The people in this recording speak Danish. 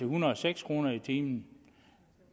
hundrede og seks kroner i timen